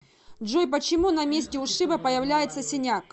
джой почему на месте ушиба появляется синяк